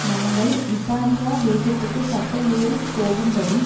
நாங்கள் இத்தாலியா தேசத்துக்குக் கப்பல் ஏறி போகும்படி